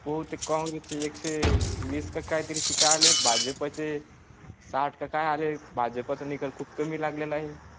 पोते कॉंग्रेस चे एकशेबीस काहीतरी टाळले भाजपचे साठ का हे भाजपा तून घर खूप कमी लागले ला आहे.